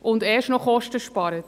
und erst noch Kosten spart.